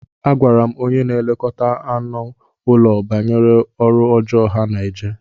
Agwara m onye na-elekọta anụ ụlọ banyere ọrụ ọjọọ ha na-eje.